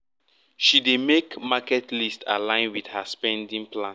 she dey make her market list align with her spending plan